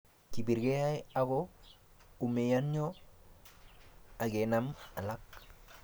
kibirgei ago umianyo angenam alak